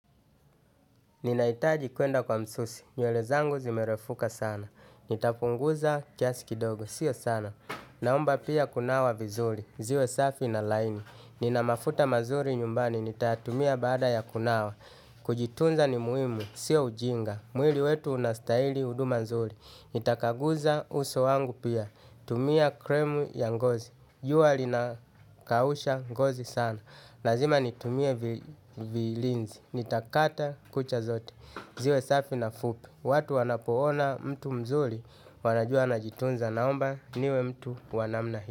Ninahitaji kuenda kwa msusi. Nywele zangu zimerefuka sana. Nitapunguza kiasi kidogo. Sio sana. Naomba pia kunawa vizuri. Ziwe safi na laini. Nina mafuta mazuri nyumbani. Nitayatumia baada ya kunawa. Kujitunza ni muhimu. Sio ujinga. Mwili wetu unastahili huduma nzuri. Nitakaguza uso wangu pia. Tumia kremu ya ngozi. Jua linakausha ngozi sana. Lazima nitumie vilinzi, nitakata kucha zote, ziwe safi na fupi. Watu wanapoona mtu mzuri, wanajua anajitunza naomba, niwe mtu wa namna hii.